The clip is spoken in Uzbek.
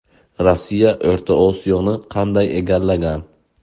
Rossiya O‘rta Osiyoni qanday egallagan?.